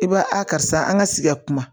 I b'a a karisa an ka sigi kuma